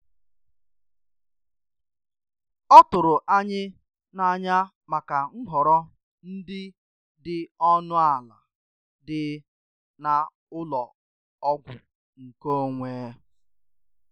Ọ tụrụ anyị n'anya maka nhọrọ ndị dị ọnụ ala dị na ụlọ ọgwụ nkeonwe.